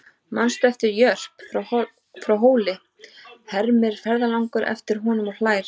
Manstu eftir Jörp frá Hóli, hermir ferðalangur eftir honum og hlær.